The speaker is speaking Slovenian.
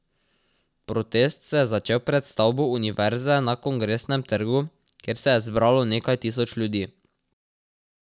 Protest se je začel pred stavbo univerze na Kongresnem trgu, kjer se je zbralo nekaj tisoč ljudi.